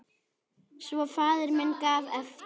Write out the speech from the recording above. Svo faðir minn gaf eftir!